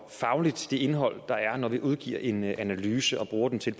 det indhold der er når vi udgiver en analyse og bruger den til